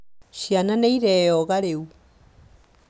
Ciana nĩireyoga rĩu